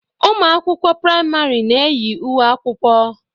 Ụmụ akwụkwọ prìamari na-eyi uwe akwụkwọ.